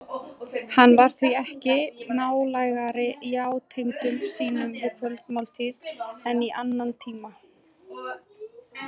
Hann var því ekki nálægari játendum sínum við kvöldmáltíð en í annan tíma.